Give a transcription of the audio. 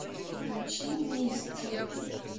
включи мисти